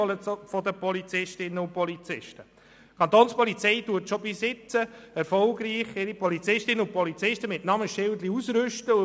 Die Kapo rüstet schon bisher ihre Polizistinnen und Polizisten erfolgreich mit Namensschildern aus.